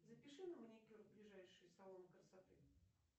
запиши на маникюр в ближайший салон красоты